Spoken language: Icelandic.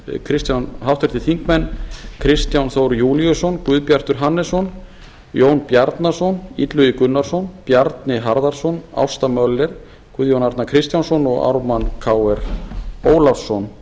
auk mín háttvirtir þingmenn kristján þór júlíusson guðbjartur hannesson jón bjarnason illugi gunnarsson bjarni harðarson ásta möller guðjón arnar kristjánsson og ármann krónu ólafsson